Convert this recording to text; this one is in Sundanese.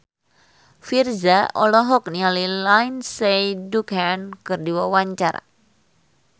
Virzha olohok ningali Lindsay Ducan keur diwawancara